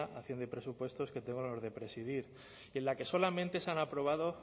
hacienda y presupuestos que tengo el honor de presidir y en la que solamente se han aprobado